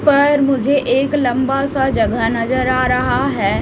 पर मुझे एक लंबा सा जगह नजर आ रहा है।